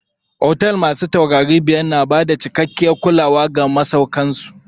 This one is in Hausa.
Otel masu taurari biyar na bada cikakkiyar kulawa ga masauƙan su.